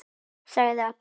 sagði Alli.